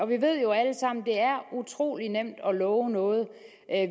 vi ved jo alle sammen at det er utrolig nemt at love noget